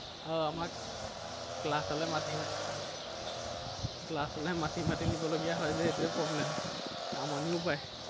আহ আমাক class লে মাতি class লে মাতি মাতি নিবলগীয়া হয় যে সেইটোৱেই problem । আমনিও পায়।